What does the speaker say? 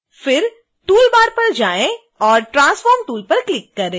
फिर toolbar पर जाएँ और transform tool पर क्लिक करें